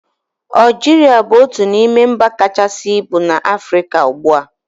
Aljiria bụ otu n'ime mba kachasị ibu na Afrịka ugbua